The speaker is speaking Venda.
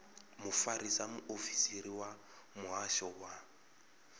mufarisa muofisiri wa muhasho wa